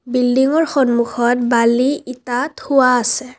বিল্ডিংৰ সন্মুখত বালি ইটা থোৱা আছে।